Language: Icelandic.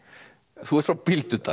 þú ert frá Bíldudal